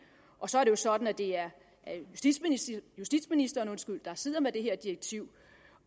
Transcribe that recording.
så er det sådan at det er justitsministeren der sidder med det her direktiv